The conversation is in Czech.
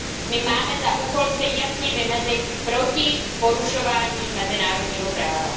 My máme za úkol se jasně vymezit proti porušování mezinárodního práva.